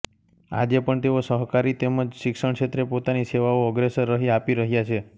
આજે પણ તેઓ સહકારી તેમ જ શિક્ષણક્ષેત્રે પોતાની સેવાઓ અગ્રેસર રહી આપી રહ્યા છે